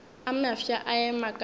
a mafsa a ema ka